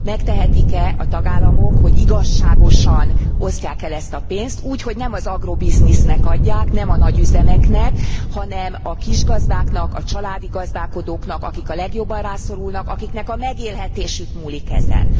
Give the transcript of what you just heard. Megtehetik e a tagállamok, hogy igazságosan osztják el ezt a pénzt, úgy hogy nem az agrobiznisznek adják, nem a nagyüzemeknek, hanem a kisgazdáknak, a családi gazdálkodóknak, akik a legjobban rászorulnak, akiknek a megélhetésük múlik ezen?